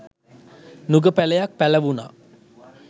නුග පැළයක් පැළවුණා.